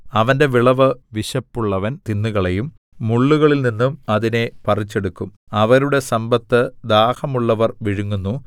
അവന്റെ വിളവ് വിശപ്പുള്ളവൻ തിന്നുകളയും മുള്ളുകളിൽനിന്നും അതിനെ പറിച്ചെടുക്കും അവരുടെ സമ്പത്ത് ദാഹമുള്ളവർ വിഴുങ്ങുന്നു